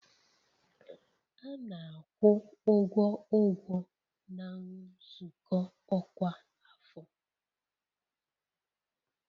A na-akwụ ụgwọ ụgwọ na nzukọ ọkwa afọ